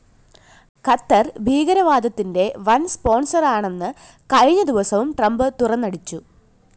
ഖത്തര്‍ ഭീകരവാദത്തിന്റെ വന്‍ സ്‌പോണ്‍സറാണെന്ന് കഴിഞ്ഞ ദിവസവും ട്രംപ്‌ തുന്നടിച്ചു